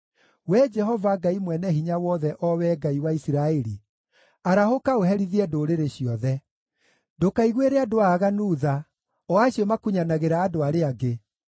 Wee Jehova, Ngai Mwene-Hinya-Wothe, o Wee Ngai wa Isiraeli, arahũka ũherithie ndũrĩrĩ ciothe; ndũkaiguĩre andũ aaganu tha, o acio makunyanagĩra andũ arĩa angĩ.